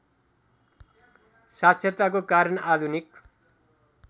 साक्षरताको कारण आधुनिक